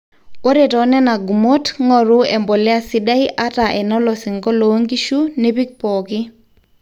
ore too nena gumot ng'oru empolea sidai ata enolosingo loongishu nipik pooki